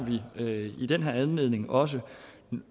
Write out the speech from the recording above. i den her anledning også